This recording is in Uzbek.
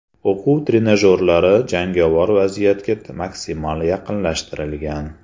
O‘quv trenajyorlari jangovar vaziyatga maksimal yaqinlashtirilgan.